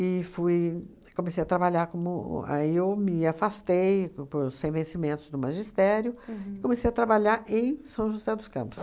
E fui, comecei a trabalhar como o, aí eu me afastei por sem vencimentos do magistério e comecei a trabalhar em São José dos Campos.